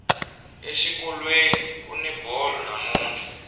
exikolweni kuni bolo namuntlha